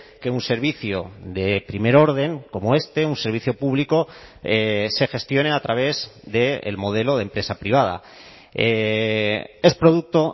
que un servicio de primer orden como este un servicio público se gestione a través del modelo de empresa privada es producto